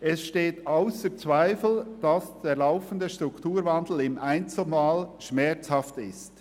Es steht ausser Zweifel, dass der laufende Strukturwandel im Einzelfall schmerzhaft ist.